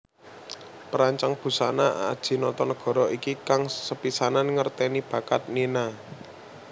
Perancang busana Adji Notonegoro iki kang sepisanan ngertèni bakat Nina